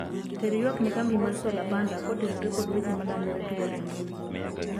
ter ywak ne kambi mar solar panda kotenore kod weche malandore piyo e mbui